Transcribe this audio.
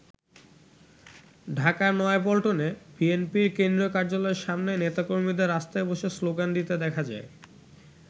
ঢাকার নয়াপল্টনে বিএনপির কেন্দ্রীয় কার্যালয়ের সামনে নেতাকর্মীদের রাস্তায় বসে শ্লোগান দিতে দেখা যায়।